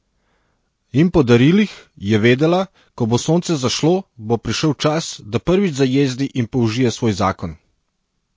In po darilih, je vedela, ko bo sonce zašlo, bo prišel čas, da prvič zajezdi in použije svoj zakon.